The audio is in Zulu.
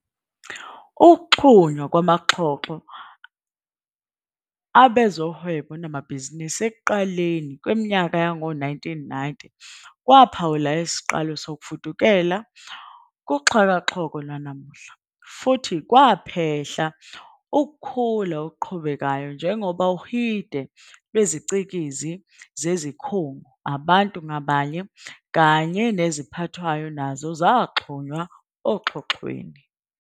Ukuxhunywa kwamaxhoxho abezohwebo namabhizinisi ekuqaleni kweminyaka yowezi-1990 kwaphawula isiqalo sokufudukela kuXhakaxholo lwanamuhla, futhi kwaphehla ukukhula okuqhubekayo njengoba uhide lweziCikizi zezikhungu, abantu ngabanye, kanye neziphathwayo nazo zaxhunywa oxhoxhweni.